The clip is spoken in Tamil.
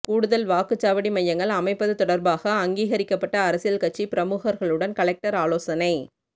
கூடுதல் வாக்குச்சாவடி மையங்கள் அமைப்பது தொடர்பாக அங்கீகரிக்கப்பட்ட அரசியல் கட்சி பிரமுகர்களுடன் கலெக்டர் ஆலோசனை